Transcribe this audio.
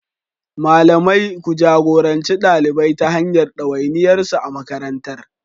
Malamai, ku jagoranci ɗalibai ta hanyar ɗawainiyarsu a makarantar.